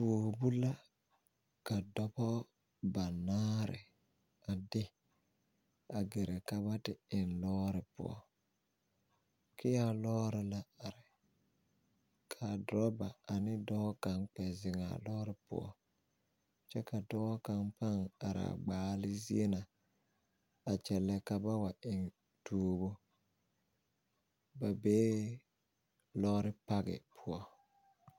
Tuobo la ka dɔbɔ banaare a de a ɡɛrɛ ka ba te eŋ lɔɔre poɔ kea lɔɔre la are ka dorɔba ane dɔɔ kaŋ kpɛ zeŋ a lɔɔre poɔ kyɛ ka dɔɔ kaŋ pãã are a ɡbaale zie na a kyɛllɛ ka ba wa eŋ tuobo ba bee lɔɔre pake poɔ.